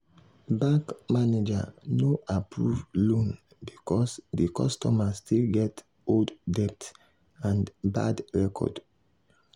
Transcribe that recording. bank manager no approve loan because di customer still get old debt and bad record.